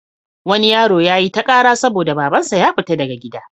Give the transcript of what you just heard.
Wani yaro ya yi ta ƙara saboda babansa ya fiya daga gida.